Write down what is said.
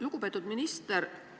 Lugupeetud minister!